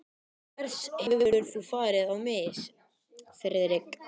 Hvers hefur þú farið á mis, Friðrik?